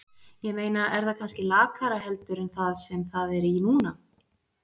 Ég meina er það kannski lakara heldur en það sem það er í núna?